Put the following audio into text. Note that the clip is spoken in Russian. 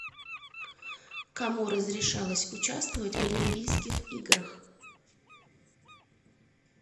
кому разрешалось участвовать в олимпийских играх